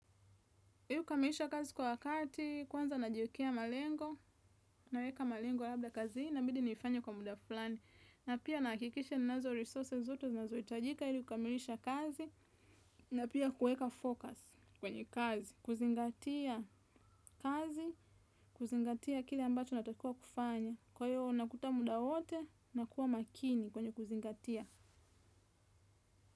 Ili kukamilisha kazi kwa wakati, kwanza najiwekea malengo, na weka malengo labda kazini inabidi nifanye kwa muda fulani. Na pia nahakikisha nazo resources zote, zinazo hitajika ili kamilisha kazi, na pia kueka focus kwenye kazi, kuzingatia kazi, kuzingatia kile ambacho natakiwa kufanya. Kwa hiyo, nakuta muda wote, nakua makini kwenye kuzingatia.